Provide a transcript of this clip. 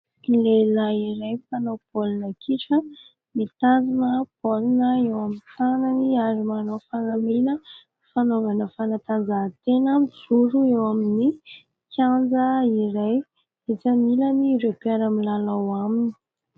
Lehilahy iray mpanao baolina kitra mitazona baolina eo amin'ny tanany ary manao fanamina fanaovana fanatanjahantena mijoro eo amin'ny kianja iray, etsy aminy ilany ireo mpiara milalao aminy.